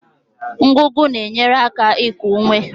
Ngụgụ na-enyere aka iku ume